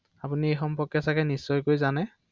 অ অ